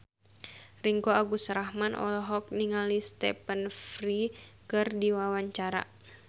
Ringgo Agus Rahman olohok ningali Stephen Fry keur diwawancara